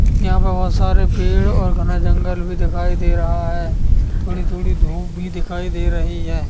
यहाँ पर बहुत सारे पेड़ और घना जंगल भी दिखाई दे रहा है थोड़ी-थोड़ी धूप भी दिखाई दे रही है।